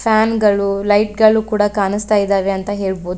ಫ್ಯಾನ್ಗಳು ಲೈಟ್ಗಳು ಕೂಡ ಕಾಣಿಸ್ತಾ ಇದಾವೆ ಅಂತ ಹೇಳಬಹುದು.